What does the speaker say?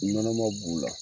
Nɔnɔman b'u la.